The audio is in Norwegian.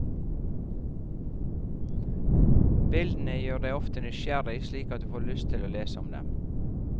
Bildene gjør deg ofte nysgjerrig, slik at du får lyst til å lese om dem.